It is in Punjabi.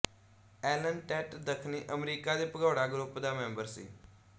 ਐਲਨ ਟੈਟ ਦੱਖਣੀ ਅਮਰੀਕਾ ਦੇ ਭਗੌੜਾ ਗਰੁੱਪ ਦਾ ਮੈਂਬਰ ਸੀ